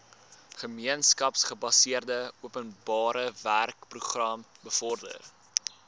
gemeenskapsgebaseerde openbarewerkeprogram bevorder